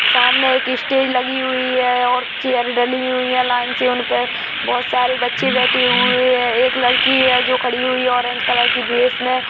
सामने एक स्टेज लगी हुई है और चेयर डली हुई है लाइन से उनपे बहोत सारे बचे बेठे हुए है एक लड़की है जो खड़ी हुई है ओरेंज कलर की ड्रेस में।